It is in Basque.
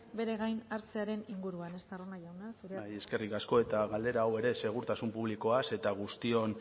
bere gain hartzearen inguruan estarrona jauna zurea da hitza bai eskerrik asko eta galdera hau ere segurtasun publikoaz eta guztion